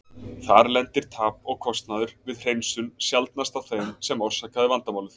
Þar lendir tap og kostnaður við hreinsun sjaldnast á þeim sem orsakaði vandamálið.